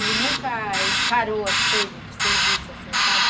Ele nunca encarou as coisas de serviço, assim, sabe?